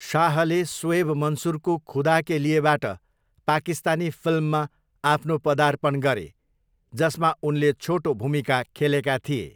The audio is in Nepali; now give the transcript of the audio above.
शाहले सोएब मन्सुरको खुदा के लिएबाट पाकिस्तानी फिल्ममा आफ्नो पदार्पण गरे, जसमा उनले छोटो भूमिका खेलेका थिए।